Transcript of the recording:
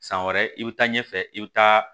San wɛrɛ i bɛ taa ɲɛfɛ i bɛ taa